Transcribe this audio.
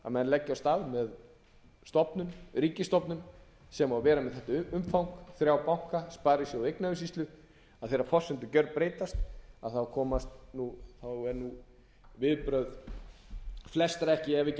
að menn leggja af stað með ríkisstofnun sem á að vera með þetta umfang þrjá banka sparisjóði og eignaumsýslu þegar forsendur gerbreytast eru viðbrögð flestra ef ekki